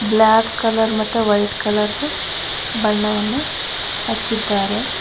Block colour ಮತ್ತೆ white colour ದು ಬಣ್ಣವನ್ನು ಹಚ್ಚಿದ್ದಾರೆ.